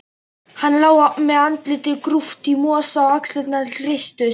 Hann lá með andlitið grúft í mosa og axlirnar hristust.